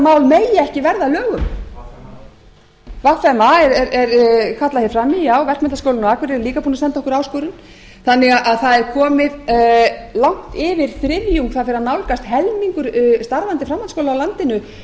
megi ekki verða að lögum vma vma er kallað fram í já verkmenntaskólinn á akureyri er líka búinn að senda okkur áskorun þannig að það er komi langt yfir þriðjung það fer að nálgast að helmingur starfandi framhaldsskóla á landinu